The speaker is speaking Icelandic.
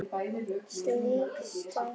Slík stefna er ekki til.